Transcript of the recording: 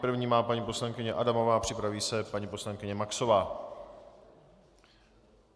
První má paní poslankyně Adamová, připraví se paní poslankyně Maxová.